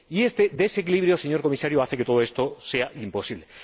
Y este desequilibrio, señor Comisario, hace que todo esto sea imposible.